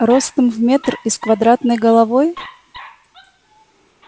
ростом в метр и с квадратной головой